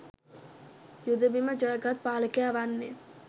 යුද බිම ජය ගත් පාලකයා වන්නේ